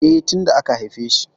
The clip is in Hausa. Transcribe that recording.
E, tin da aka haifeshi.